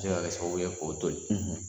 Bɛ se ka kɛ sababuw ye k'o to yen